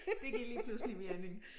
Det giver lige pludselig mening